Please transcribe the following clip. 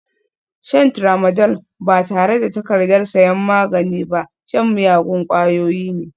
Shan Tramadol ba tare da takardar sayan magani ba shan miyagun ƙwayoyi ne